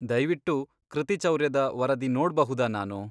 ದಯ್ವಿಟ್ಟು ಕೃತಿಚೌರ್ಯದ ವರದಿ ನೋಡ್ಬಹುದಾ ನಾನು?